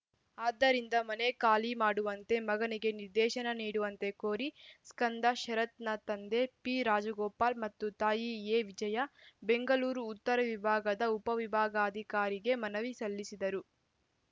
ಆದ್ದರಿಂದ ಮನೆ ಖಾಲಿ ಮಾಡುವಂತೆ ಮಗನಿಗೆ ನಿರ್ದೇಶನ ನೀಡುವಂತೆ ಕೋರಿ ಸ್ಕಂದ ಶರತ್‌ನ ತಂದೆ ಪಿರಾಜಗೋಪಾಲ್‌ ಮತ್ತು ತಾಯಿ ಎವಿಜಯಾ ಬೆಂಗಳೂರು ಉತ್ತರ ವಿಭಾಗದ ಉಪವಿಭಾಗಾಧಿಕಾರಿಗೆ ಮನವಿ ಸಲ್ಲಿಸಿದ್ದರು